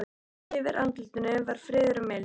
Yfir andlitinu var friður og mildi.